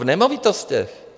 V nemovitostech!